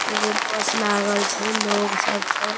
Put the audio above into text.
एगो बस लागल छै लोग सब छै।